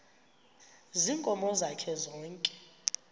ziinkomo zakhe zonke